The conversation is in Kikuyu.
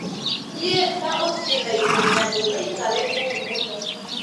Thiĩ na ũthiĩ ihenya ndũgaikare kũu mũno